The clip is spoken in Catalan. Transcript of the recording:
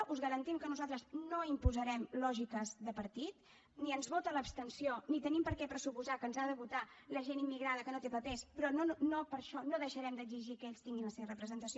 us garantim que nosaltres no imposarem lògiques de partit ni ens vota l’abstenció ni tenim per què pressuposar que ens ha de votar la gent immigrada que no té papers però no per això no deixarem d’exigir que ells tinguin la seva representació